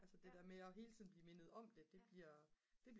altså det der med hele tiden at blive mindet om det det bliver